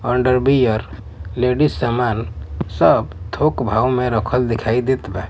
अंदर beer ladies समान सब थोक भाव में रखल दिखाई देत बा।